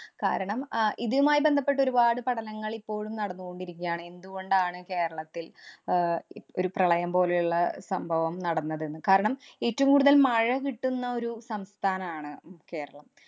കാരണം, അഹ് ഇതുമായി ബന്ധപ്പെട്ട് ഒരുപാട് പഠനങ്ങള്‍ ഇപ്പോഴും നടന്നുകൊണ്ടിരിക്കുകയാണ്. എന്തുകൊണ്ടാണ് കേരളത്തില്‍ ആഹ് ഇ~ ഒരു പ്രളയം പോലെയുള്ള സംഭവം നടന്നതെന്ന്. കാരണം, ഏറ്റവും കൂടുതല്‍ മഴ കിട്ടുന്ന ഒരു സംസ്ഥാനാണ് കേരളം.